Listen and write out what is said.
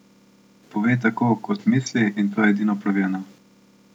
Pove tako, kot misli, in to je edino pravilno.